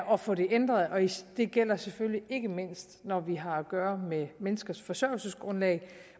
og få det ændret det gælder selvfølgelig ikke mindst når vi har at gøre med menneskers forsørgelsesgrundlag